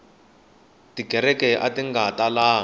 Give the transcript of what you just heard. tikereke ati nga talangi